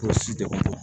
Kɔlɔsibaga